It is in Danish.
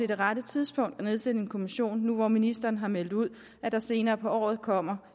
det rette tidspunkt at nedsætte en kommission nu ministeren har meldt ud at der senere på året kommer